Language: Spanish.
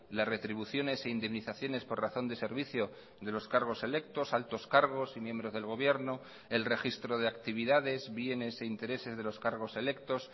las retribuciones e indemnizaciones por razón de servicio de los cargos electos altos cargos y miembros del gobierno el registro de actividades bienes e intereses de los cargos electos